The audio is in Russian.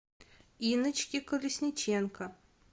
инночке колесниченко